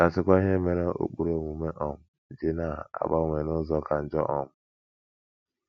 Ka a sịkwa ihe mere ụkpụrụ omume um ji na - agbanwe n’ụzọ ka njọ um!